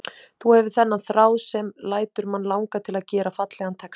Þú hefur þennan þráð sem lætur mann langa til að gera fallegan texta.